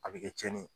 A bɛ kɛ tiɲɛni ye